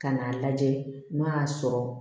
Ka n'a lajɛ n'a y'a sɔrɔ